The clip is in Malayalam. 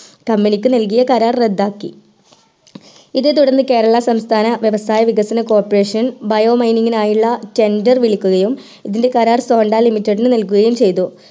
company ക്ക് നൽകിയ കരാർ റദ്ധാക്കി ഇതേ തുടർന്ന് കേരളം സംസ്ഥാന വ്യവസായ വികസന corporation bio mining ആയിലുള്ള tender വിളിക്കുകയും ഇതിന്റെ കരാർ sonda limited നു നൽകുകയും ചെയ്തു